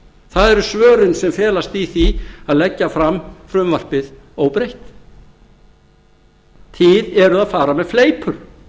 það eru svörin sem felast í því að leggja fram frumvarpið óbreytt þið eruð að fara með fleipur